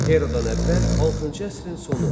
Eradan əvvəl altıncı əsrin sonu.